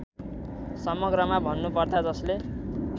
समग्रमा भन्नुपर्दा जसले